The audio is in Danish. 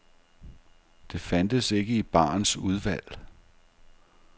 Det fandtes ikke i barens udvalg.